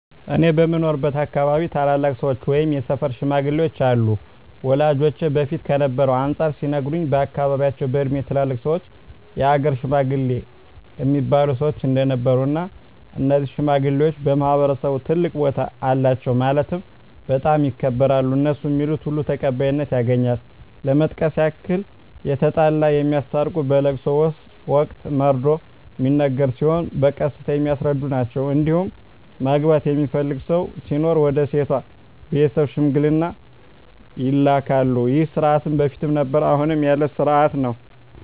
እኔ በምኖርበት አካባቢ ታላላቅ ሰዎች ወይም የሰፈር ሽማግሌዎች አሉ ወላጆቼ በፊት ከነበረው አንፃር ሲነግሩኝ በአካባቢያቸው በእድሜ ትላልቅ ሰዎች የሀገር ሽማግሌ እሚባሉ ሰዎች እንደነበሩ እና እነዚህ ሽማግሌዎች በማህበረሰቡ ትልቅ ቦታ አላቸው ማለትም በጣም ይከበራሉ እነሡ ሚሉት ሁሉ ተቀባይነት ያገኛል ለመጥቀስ ያክል የተጣላ የሚያስታርቁ በለቅሶ ወቅት መርዶ ሚነገር ሲሆን በቀስታ የሚያስረዱ ናቸዉ እንዲሁም ማግባት የሚፈልግ ሰው ሲኖር ወደ ሴቷ ቤተሰብ ሽምግልና ይላካሉ ይህ ስርዓት በፊትም ነበረ አሁንም ያለ ስርአት ነው።